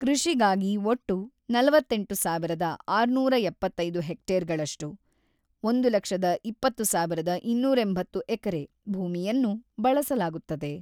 ಕೃಷಿಗಾಗಿ ಒಟ್ಟು ನಲವತ್ತೆಂಟು ಸಾವಿರದ ಆರುನೂರ ಎಪ್ಪತ್ತೈದು ಹೆಕ್ಟೇರ್‌ಗಳಷ್ಟು (ಒಂದು ಲಕ್ಷದ ಇಪ್ಪತ್ತು ಸಾವಿರದ ಇನ್ನೂರ ಎಂಬತ್ತು ಎಕರೆ) ಭೂಮಿಯನ್ನು ಬಳಸಲಾಗುತ್ತದೆ.